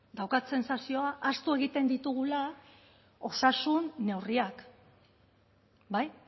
daukat sentsazioa ahaztu egiten ditugula osasun neurriak bai